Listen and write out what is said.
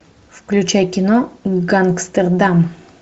включай кино гангстердам